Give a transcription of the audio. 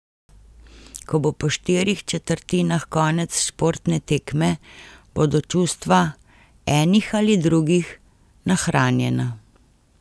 Ko bo po štirih četrtinah konec športne tekme, bodo čustva, enih ali drugih, nahranjena.